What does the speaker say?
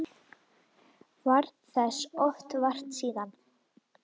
Varð þess oft vart síðan.